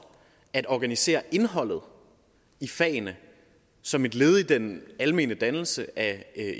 at organisere indholdet i fagene som et led i den almene dannelse af